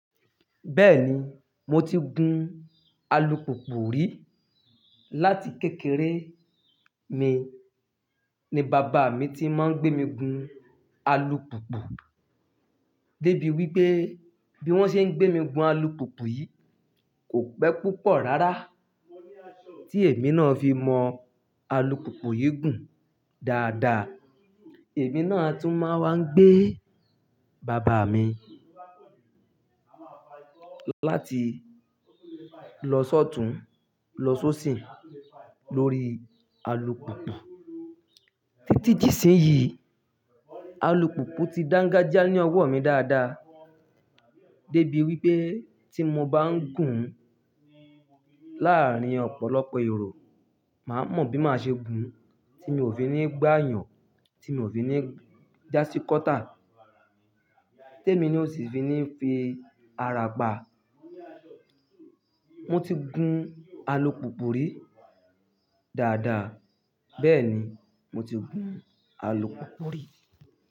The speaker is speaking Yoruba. Bẹ́ẹ̀ni, mo ti gun alùpùpù rí. Láti kékeré mi ni bàbá mi ti máa ń gbé mi gun alùpùpù. Débi wípé bí wón ṣe ń gbé mi gun alùpùpù yìí kò pẹ́ púpọ̀ rárá tí èmi náà fi mọ alùpùpù yìí gùn dáadáa. Èmi náà a tún máa ń wá gbé bàbá mi láti lọ sọ́tun, lọ sóṣìn lórí alùpùpù. Títí di ìsinyìí, alùpùpù ti dángájíá ní ọwọ́ mi dáadáa. Débi wípé tí mo bá ń gùn láàárín ọ̀pọ̀lọpọ̀ èrò, màá mọ bí màá ṣe gùn tí mi ò fi ní gbá yàn, tí mi ò fi ní jásíkọ́tà, tí èmi ná ò sì fi ní fi ara pa. Mo ti gun alùpùpù rí dáadáa. Bẹ́ẹ̀ni, mo ti gun alùpùpù rí.